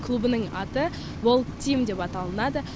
клубының аты бол тим деп аталынады